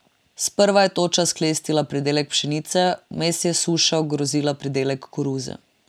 Sprva je toča sklestila pridelek pšenice, vmes je suša ogrozila pridelek koruze.